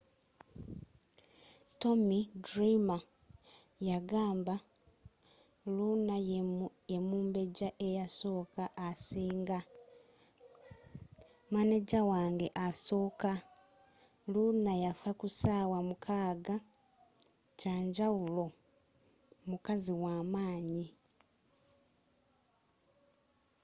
tommy dreamer yagamba luna yemumbejja eyasooka asinga. maneja wange asooka. luna yaffa kusaawa mukaaga. kyamjawulo. mukazi wamaanyi.